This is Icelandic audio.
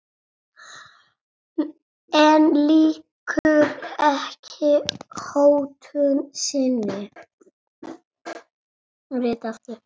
En lýkur ekki hótun sinni.